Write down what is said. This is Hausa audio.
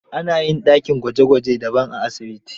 Ana yin dakin gwaje gwaje daban a asibiti.